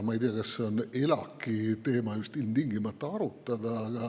Ma ei tea, kas see teema on ilmtingimata just ELAK‑i arutada.